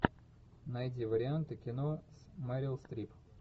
найди варианты кино с мерил стрип